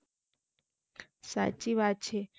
સાચી વાત છે